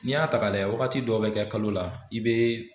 N'i y'a ta ka lajɛ wagati dɔw bɛ kɛ kalo la i bɛ